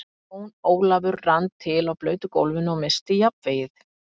Jón Ólafur rann til á blautu gólfinu og missti jafnvlgið.